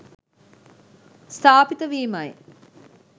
ස්ථාපිත වීමයි.